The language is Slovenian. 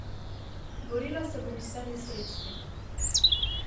Borila se bom z vsemi sredstvi.